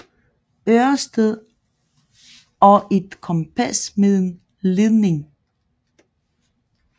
Ørsted og et kompas med en ledning